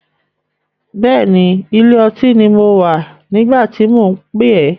Bẹ́ẹ̀ni, ilé ọtí ni mo wà nígbà tí mò ń pè ẹ́.